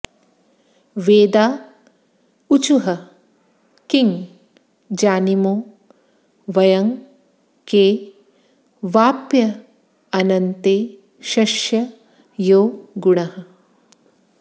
वेदा ऊचुः किं जानीमो वयं के वाप्यनन्तेशस्य यो गुणः